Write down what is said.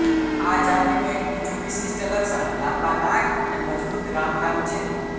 આ જાતિનું એક બીજું વિશિષ્ટ લક્ષણ લાંબા નાક અને મજબૂત રામરામ છે